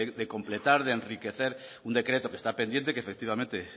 de completar de enriquecer un decreto que está pendiente que efectivamente